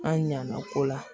An ɲa na ko la